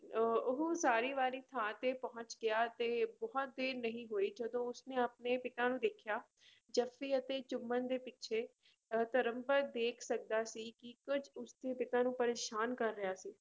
ਅਹ ਉਹ ਉਸਾਰੀ ਵਾਲੀ ਥਾਂ ਤੇ ਪਹੁੰਚ ਗਿਆ ਤੇ ਬਹੁਤ ਦੇਰ ਨਹੀਂ ਹੋਈ ਜਦੋਂ ਉਸਨੇ ਆਪਣੇ ਪਿਤਾ ਨੂੰ ਦੇਖਿਆ, ਜੱਫ਼ੀ ਅਤੇ ਚੁੰਮਣ ਦੇ ਪਿੱਛੇ ਅਹ ਧਰਮਪਦ ਦੇਖ ਸਕਦਾ ਸੀ ਕਿ ਕੁੱਝ ਉਸਦੇ ਪਿਤਾ ਨੂੰ ਪਰੇਸਾਨ ਕਰ ਰਿਹਾ ਸੀ।